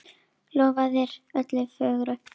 Lofaðir öllu fögru!